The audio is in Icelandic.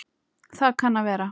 Það kann að vera